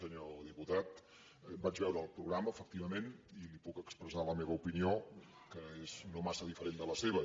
senyor diputat vaig veure el programa efectivament i li puc expressar la meva opinió que és no massa diferent de la seva